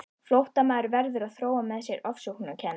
Flóttamaður verður að þróa með sér ofsóknarkennd.